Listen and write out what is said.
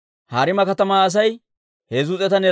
Paashihuura yaratuu 1,247;